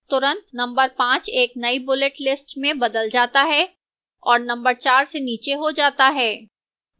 तुरंत नंबर 5 एक नई bullet list में बदल जाता है और नंबर 4 से नीचे हो जाता है